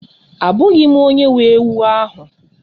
Abụghị m onye nwe ewu ahụ